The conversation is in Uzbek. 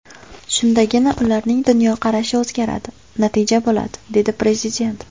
Shundagina ularning dunyoqarashi o‘zgaradi, natija bo‘ladi”, – dedi Prezident.